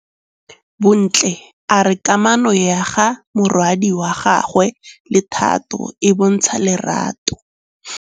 Bontle a re kamanô ya morwadi wa gagwe le Thato e bontsha lerato.